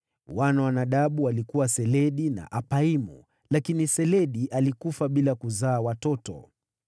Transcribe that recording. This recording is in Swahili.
Wana wa Nadabu walikuwa Seledi na Apaimu, lakini Seledi alikufa bila kuzaa watoto.